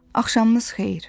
Axşamınız xeyir.